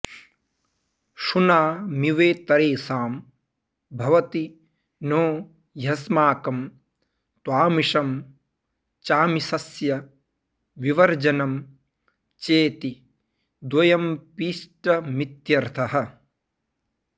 शुनामिवेतरेषां भवति नो ह्यस्माकं त्वामिषं चाऽऽमिषस्य विवर्जनं चेति द्वयमपीष्टमित्यर्थः